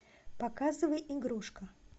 показывай игрушка